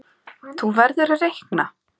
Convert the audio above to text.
Þú verður að reikna